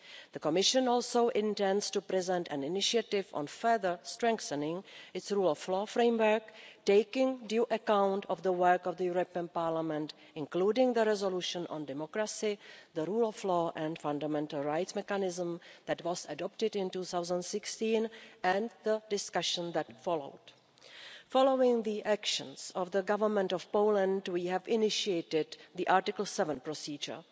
The Commission also intends to present an initiative on further strengthening its rule of law framework, taking due account of the work of Parliament, including the resolution on democracy, the rule of law and a fundamental rights mechanism that was adopted in 2016 and the discussion that followed. Following the actions of the Government of Poland, we have initiated the Article 7 procedure.